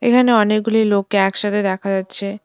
এখানে অনেকগুলি লোককে একসাথে দেখা যাচ্ছে।